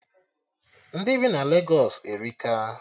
Ndị bi na Legos erika